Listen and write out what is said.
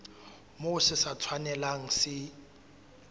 moo se sa tshwanelang se